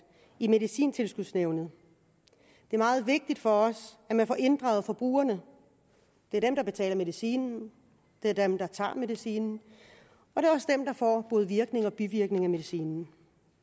i medicintilskudsnævnet det er meget vigtigt for os at man får inddraget forbrugerne det er dem der betaler medicinen det er dem der tager medicinen og får både virkninger og bivirkninger af medicinen